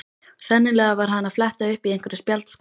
Sennilega var hann að fletta upp í einhverri spjaldskrá.